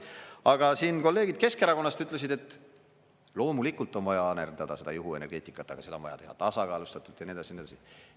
Aga siin kolleegid Keskerakonnast ütlesid, et loomulikult on vaja arendada juhuenergeetikat, aga seda on vaja teha tasakaalustatult ja nii edasi.